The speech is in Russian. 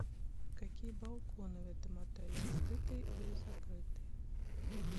какие балконы в этом отеле открытые или закрытые